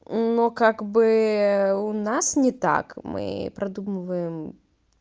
но как бы у нас не так мы продумываем